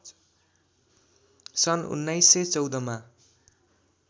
सन् १९१४ मा